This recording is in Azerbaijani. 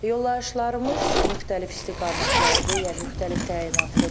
Yollayışlarımız müxtəlif istiqamətlidir, yəni müxtəlif təyinatlıdır.